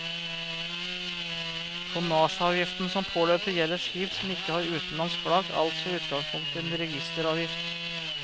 Tonnasjeavgiften som påløper, gjelder skip som ikke har utenlandsk flagg, altså i utgangspunktet en registeravgift.